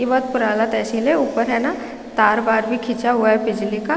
यह बहुत पुराना तहसील है ऊपर है न तार वार भी खींचा हुआ है बिजली का--